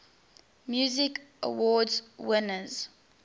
music awards winners